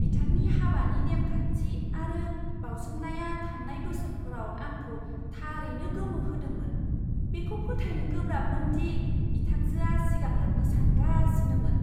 बिथांनि हाबानि नेमखान्थि आरो बावसोमनाया थांनाय बोसोरफोराव आंखौ थारैनो गोमोहोदोंमोन, बेखौ फोथायनो गोब्राबमोन दि बिथांजोआ सिगांलांनो सानगासिनोमोन!